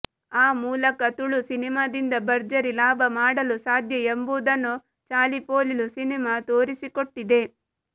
ಆ ಮೂಲಕ ತುಳು ಸಿನಿಮಾದಿಂದ ಭರ್ಜರಿ ಲಾಭ ಮಾಡಲು ಸಾಧ್ಯ ಎಂಬುದನ್ನೂ ಚಾಲಿಪೋಲಿಲು ಸಿನಿಮಾ ತೋರಿಸಿಕೊಟ್ಟಿದೆ